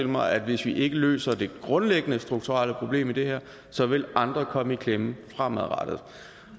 mig at hvis vi ikke løser det grundlæggende strukturelle problem i det her så vil andre komme i klemme fremadrettet